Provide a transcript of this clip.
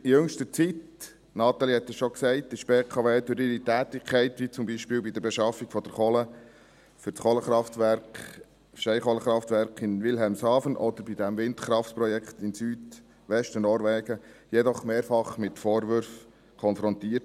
In jüngster Zeit – Natalie Imboden hat es schon gesagt – wurde die BKW durch ihre Tätigkeit, wie zum Beispiel bei der Beschaffung von Kohle für das Steinkohlekraftwerk in Wilhelmshaven oder beim Windkraftprojekt im Südwesten Norwegens, jedoch mehrfach mit Vorwürfen konfrontiert.